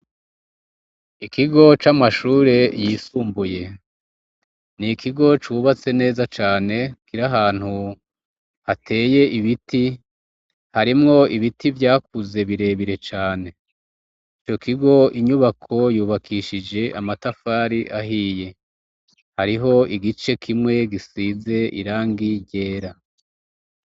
Ikigo c'amashure yisumbuye. Ni ikigo cubatse neza cane kiri ahantu hateye ibiti, harimwo ibiti vyakuze birebire cane. Ico kigo inyubako yubakishije amatafari ahiye, hariho igice kimwe gisize irangi ryera.